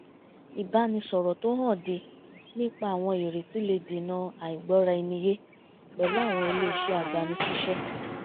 ìbánisọ̀rọ̀ tó hànde nípa àwọn ìrètí le dènà àìgbọ́ra-ẹni-yé pẹ̀lú àwọn ilé iṣẹ́ agbani-síṣẹ́